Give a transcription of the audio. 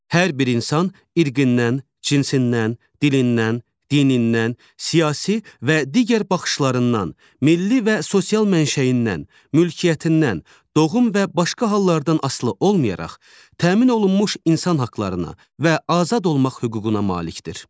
Hər bir insan irqindən, cinsindən, dilindən, dinindən, siyasi və digər baxışlarından, milli və sosial mənşəyindən, mülkiyyətindən, doğum və başqa hallardan asılı olmayaraq təmin olunmuş insan haqlarına və azad olmaq hüququna malikdir.